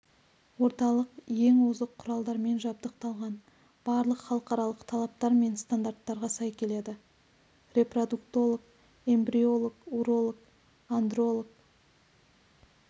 орталық ең озық құралдармен жабдықталған барлық халықаралық талаптар мен стандарттарға сай келеді репродуктолог эмбриолог уролог-андролог